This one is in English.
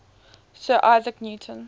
sir isaac newton